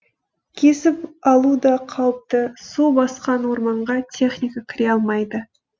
кесіп алу да қауіпті су басқан орманға техника кіре алмайды